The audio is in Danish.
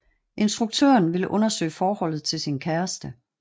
Instruktøren vil undersøge forholdet til sin kæreste